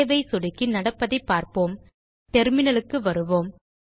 save ஐ சொடுக்கி நடப்பதைப் பார்ப்போம் டெர்மினல் க்கு வருவோம்